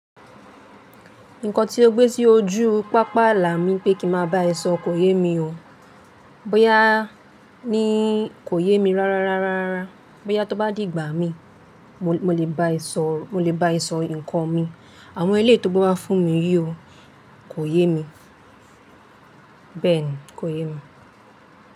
Nǹkan tí ó gbé sí ojú pápá àlà mi pé kí ma bá ẹ sọ kò yé mi o. Bóyá ni kò yé mi rara rara rara. Bóyá tó bá dìgbà mí, mo lè bá ẹ sọ, mo lè bá ẹ sọ nǹkan mi. Àwọn eléyìí tó gbe wá fún mi yí o, kò yé mi. Bẹ́ẹ̀ni, kò yé mi.